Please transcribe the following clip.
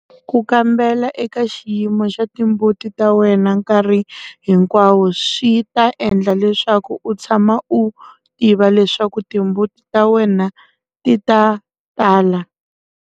Ku kambela eka xiyimo xa timbuti ta wena nkarhi hinkwawo swi ta endla leswaku u tshama u tiva leswaku timbuti ta wena ti ta tala.